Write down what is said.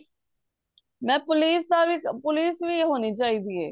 ਮੈ police ਵੀ ਹੋਣੀ ਚਾਹੀਦੀ ਏ